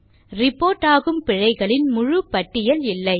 report ஆகும் பிழைகளின் முழு பட்டியல் இல்லை